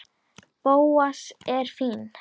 Bóas er fínn.